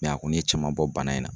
a kun ye caman bɔ bana in na.